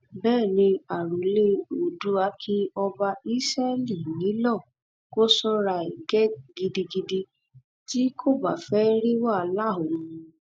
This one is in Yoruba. bẹẹ ni àròlé oòdùà kí ọba ísẹlì nílò kó sọra ẹ gidigidi tí kò bá fẹẹ rí wàhálà òun